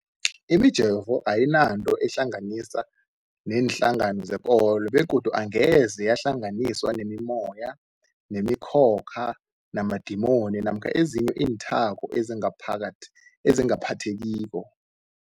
Imijovo ayinanto eyihlanganisa neenhlangano zekolo begodu angeze yahlanganiswa nemimoya, nemi khokha, namadimoni namkha ezinye iinthako ezingaphathekiko.